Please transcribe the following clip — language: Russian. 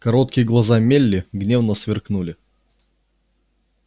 кроткие глаза мелли гневно сверкнули